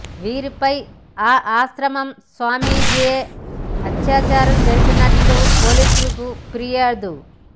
వీరిపై ఆ ఆశ్రమం స్వామీజీయే అత్యాచారం జరిపినట్లు పోలీసులకు ఫిర్యాదు